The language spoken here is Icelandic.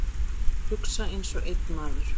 Hugsa einsog einn maður.